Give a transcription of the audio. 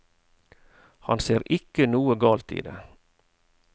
Han ser ikke noe galt i det.